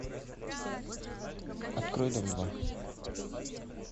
открой дом два